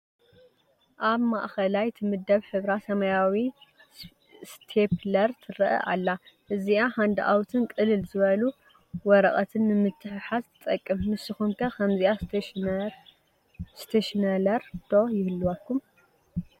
ኣብ ማእኸላይ ትምደብ ሕብራ ሰማያዊ ስቴኘለር ትረአ ኣላ፡፡ እዚኣ ሃንድኣውትን ቅልል ዝበሉ ወረቐትን ንምትሕሓዝ ትጠቅም፡፡ ንስኹም ከ ከምዚኣ ስቴኘነለር ዶ ይህልወኩም?